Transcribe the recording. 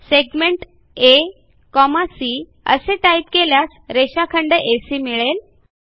segment AC असे type केल्यास रेषाखंड एसी मिळेल